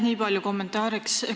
Aitäh!